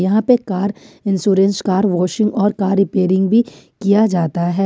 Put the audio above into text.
यहां पे car insurance car washing और कार रिपेयरिंग भी किया जाता है।